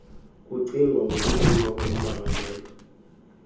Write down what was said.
kucingwa ngokukhululwa kommangalelwa